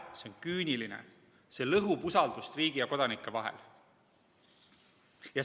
See on küüniline, see lõhub usaldust riigi ja kodanike vahel.